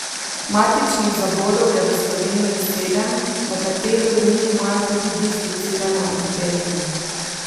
Matičnih zavodov je v Sloveniji sedem, nekateri od njih imajo tudi dislocirane oddelke.